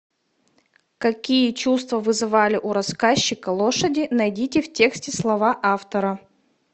какие чувства вызывали у рассказчика лошади найдите в тексте слова автора